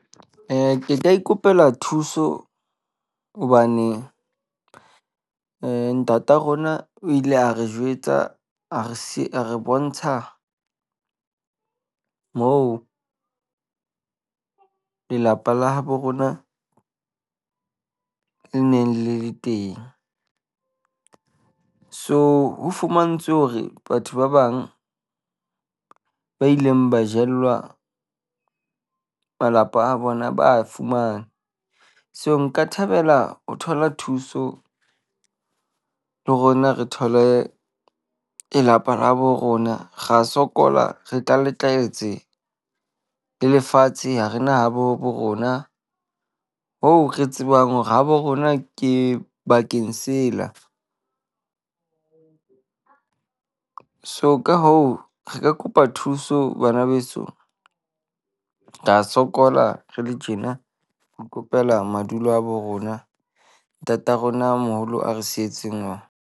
, Ke ka ikopela thuso hobane eh ntata rona o ile a re jwetsa a re a re bontsha moo lelapa la habo rona le neng le le teng. So ho fumantshwe hore batho ba bang ba ileng ba jellwa malapa a bona ba a fumane. So nka thabela ho thola thuso le rona re thole lelapa la borona, ra sokola re le lefatshe ha re na habo rona. Ho re tsebang hore habo rona ke bakeng sela. So ka hoo re ka kopa thuso bana beso, ra sokola re le tjena. Ro kopela madulo a bo rona, ntata rona moholo a re sietseng ona.